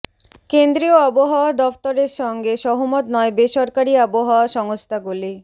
কেন্দ্রীয় আবহাওয়া দফতরের সঙ্গে সহমত নয় বেসরকারি আবহাওয়া সংস্থাগুলি